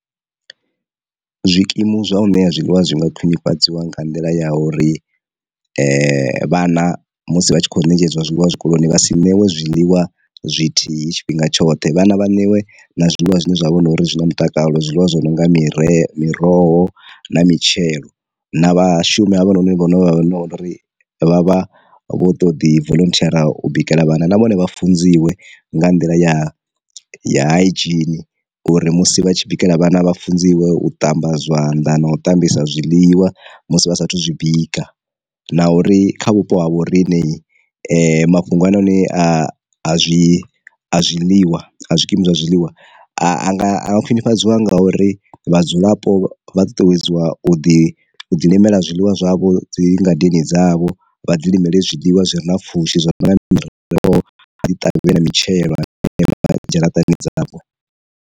Zwikimu zwa u ṋea zwiḽiwa zwi nga khwinifhadziwa nga nḓila ya uri vhana musi vha tshi kho ṋetshedzwa zwiḽiwa zwikoloni vha si newe zwiḽiwa zwithihi tshifhinga tshoṱhe, vhana vha ṋewe na zwiḽiwa zwine zwa vhori zwina mutakalo zwiḽiwa zwi no nga mire miroho na mitshelo, na vhashumi havha noni vho ri vha vha vho to ḓi volunteer u bikela vhana na vhone vha funziwe nga nḓila ya ya hygene uri musi vha tshi bikela vhana vha funziwe u ṱamba zwanḓa, na u ṱambisa zwiḽiwa musi vha saathu zwi bika, na uri kha vhupo ha vho riṋe mafhungo hanoni a a zwi a zwiḽiwa a zwikimu zwa zwiḽiwa anga khwinifhadziwa ngauri vhadzulapo vha ṱuṱuwedziwa u ḓi ḓilimela zwiḽiwa zwavho dzi ngadeni dzavho vha dzi nyimele zwiḽiwa zwi re na pfhushi zwo no nga mini ro ḓi ṱavhela mitshelo ṋea dzharaṱani dzavho.